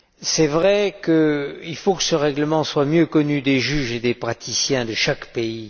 C'est vrai qu'il faut que ce règlement soit mieux connu des juges et des praticiens de chaque pays.